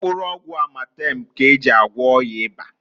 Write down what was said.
Mkpụrụ ọgwụ Amatemu k'eji agwo ọya ịba.